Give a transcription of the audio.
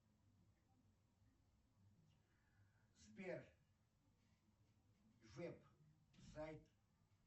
сбер веб сайт